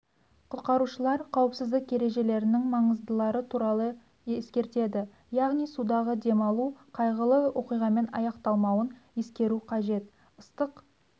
құтқарушылар қауіпсіздік ережелерінің маңыздылары туралы ескертеді яғни судағы демалу қайғылы оқиғамен аяқталмауын ескеру қажет ыстық